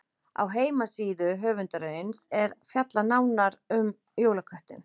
Á heimasíðu höfundarins er nánar fjallað um jólaköttinn.